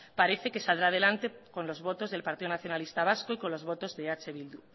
parece que saldrá adelante con los votos del partido nacionalista vasco y con los botos de eh bildu